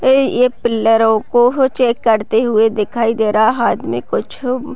ये पिल्लरो को चेक करते हुए दिखाई दे रहा आदमी कुछ।